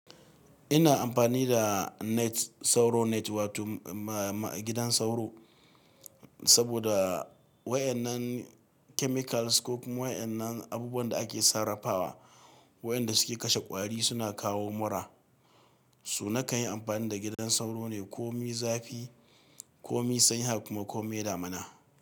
Ina amfani da net, sauro net wato ma-ma gidan sauro saboda wayan nan chemicals ko kuma wayan nan abubuwan da ake sarrafawa, wayanda suke kashe ƙwari suna kawo mura. Su na kan yi amfani da gidan sauro ne ko mi zafi, ko mi sanyi, har kuma ko mi damina.